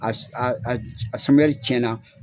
a samiyari cɛn na.